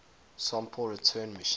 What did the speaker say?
sample return missions